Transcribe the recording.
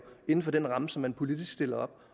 inden for den ramme som man politisk stiller op